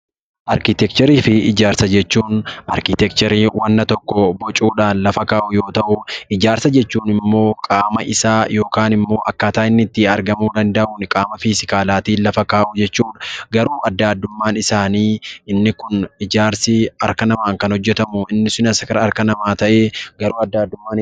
Arkiteekcharii fi ijaarsa jechuun: Arkiteekcharii wanna tokko bocuu dhaan lafa kaa'uu yoo ta'u; Ijaarsa jechuun immoo qaama isaa yookaan immoo akkaataa inni itti argamuu danda'uun qaama fiizilaalaa tiin lafa kaa'uu jechuu dha. Garuu addaa addummaan isaanii inni kun ijaarsi harka namaan kan hojjetamu, inni sunis kara harka namaa ta'ee garuu addaa addummaa qaba.